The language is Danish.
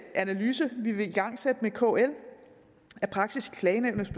analyse vi vil igangsætte med kl af praksis i klagenævnet